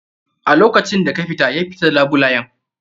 A lokacin da ka fita, ya fita d labulayen.